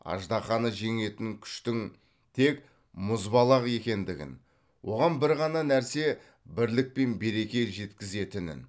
аждаһаны жеңетін күштің тек мұзбалақ екендігін оған бір ғана нәрсе бірлік пен береке жеткізетінін